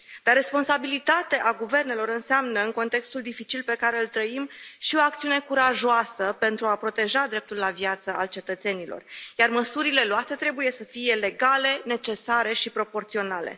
Dar responsabilitatea guvernelor înseamnă, în contextul dificil pe care îl trăim, și o acțiune curajoasă pentru a proteja dreptul la viață al cetățenilor, iar măsurile luate trebuie să fie legale, necesare și proporționale.